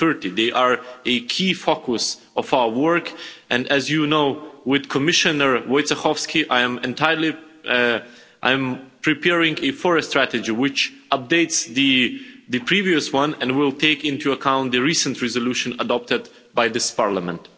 2030. They are a key focus of our work and, as you know, with Commissioner Wojciechowski I am preparing a forest strategy which updates the previous one and will take into account the recent resolution adopted by this Parliament.